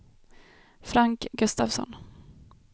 Frank Gustafsson